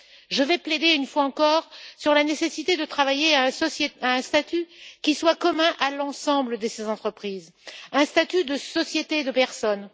Je vais insister une fois encore sur la nécessité de travailler à un statut qui soit commun à l'ensemble de ces entreprises, à savoir un statut de société de personnes